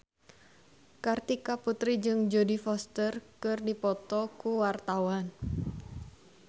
Kartika Putri jeung Jodie Foster keur dipoto ku wartawan